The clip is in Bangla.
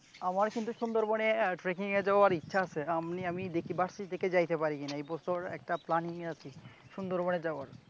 আমার কিন্তু সুন্দরবনে tracking এ যাওয়ার ইচ্ছা আছে । আমি দেখি varsity থেকে যাইতে পারি কিনা । এবছর একটি planning য়ে আছি সুন্দরবনের যাওয়ার ।